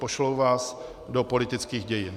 Pošlou vás do politických dějin.